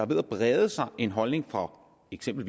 ved at brede sig en holdning fra for eksempel